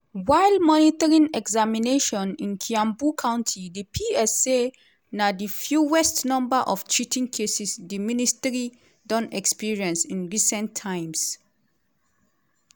while monitoring examinations in kiambu county di ps say na di fewest number of cheating cases di ministry don experience in recent times.